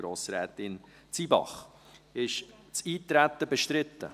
Ist das Eintreten bestritten?